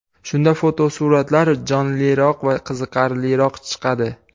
Shunda fotosuratlar jonliroq va qiziqarliroq chiqadi.